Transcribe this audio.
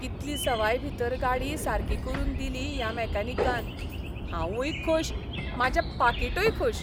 कितली सवायभीतर गाडी सारकी करून दिली ह्या मॅकॅनिकान. हांवूंय खूश, म्हाजें पाकिटूय खूश!